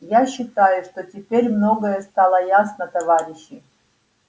я считаю что теперь многое стало ясно товарищи